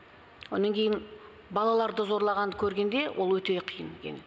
онан кейін балаларды зорлағанды көргенде ол өте қиын екен